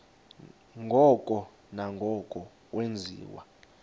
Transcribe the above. ngoko nangoko wenziwa